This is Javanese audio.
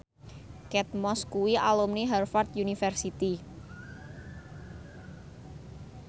Kate Moss kuwi alumni Harvard university